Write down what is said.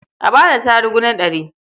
A ba da tarugu na ɗari.